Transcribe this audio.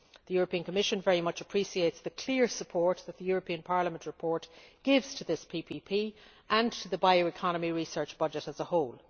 The Commission very much appreciates the clear support that the Parliament report gives to this PPP and to the bioeconomy research budget as a whole.